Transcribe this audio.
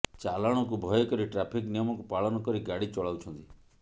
ଚାଲାଣକୁ ଭୟ କରି ଟ୍ରାଫିକ୍ ନିୟମକୁ ପାଳନ କରି ଗାଡ଼ି ଚଳାଉଛନ୍ତି